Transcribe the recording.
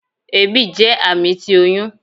Ebi jẹ ami ti oyun